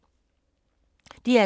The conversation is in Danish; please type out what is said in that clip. DR2